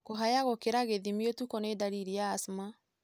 Kũyaha gũkĩra gĩthimi ũtukũ nĩ ndariri ya asthma.